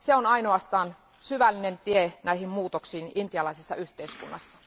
Se on ainoastaan syvällinen tie näihin muutoksiin intialaisessa yhteiskunnassa.